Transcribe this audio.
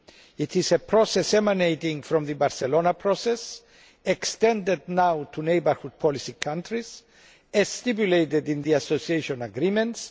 It is a process emanating from the Barcelona Process, extended now to Neighbourhood Policy countries, as stipulated in the association agreements